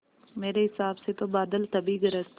मेरे हिसाब से तो बादल तभी गरजते हैं